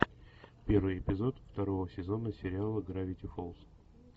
первый эпизод второго сезона сериала гравити фолз